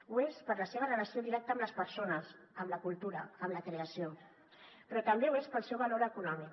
ho és per la seva relació directa amb les persones amb la cultura amb la creació però també ho és pel seu valor econòmic